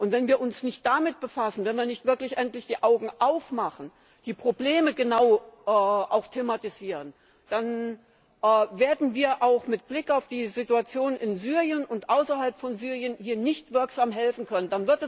Wenn wir uns nicht damit befassen, wenn wir nicht wirklich endlich die Augen aufmachen, die Probleme genau thematisieren, dann werden wir auch mit Blick auf die Situation in Syrien und außerhalb von Syrien hier nicht wirksam helfen können.